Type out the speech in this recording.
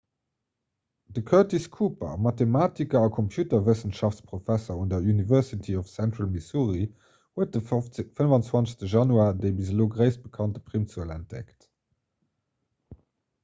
de curtis cooper e mathematiker a computerwëssenschaftsprofesser un der university of central missouri huet de 25 januar déi bis elo gréisst bekannt primzuel entdeckt